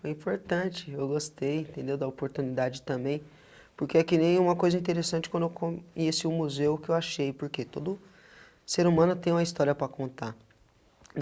Foi importante, eu gostei, entendeu da oportunidade também, porque é que nem uma coisa interessante quando eu conheci o museu que eu achei, porque todo ser humano tem uma história para contar.